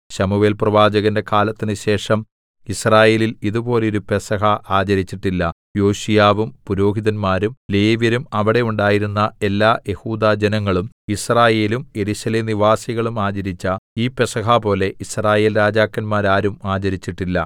ശമൂവേൽപ്രവാചകന്റെ കാലത്തിന് ശേഷം യിസ്രായേലിൽ ഇതുപോലെ ഒരു പെസഹ ആചരിച്ചിട്ടില്ല യോശീയാവും പുരോഹിതന്മാരും ലേവ്യരും അവിടെ ഉണ്ടായിരുന്ന എല്ലാ യെഹൂദാജനങ്ങളും യിസ്രായേലും യെരൂശലേം നിവാസികളും ആചരിച്ച ഈ പെസഹപോലെ യിസ്രായേൽരാജാക്കന്മാരാരും ആചരിച്ചിട്ടില്ല